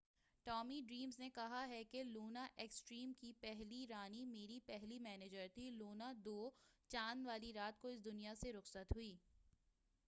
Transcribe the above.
Tommy Dreamer نے کہا ہے کہ لونا ایکسٹریم کی پہلی رانی میری پہلی منیجر تھی لونا دو چاند والی رات کو اس دنیا سے رخصت ہوگئی